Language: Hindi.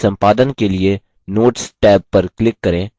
notes के संपादन के लिए notes टैब पर click करें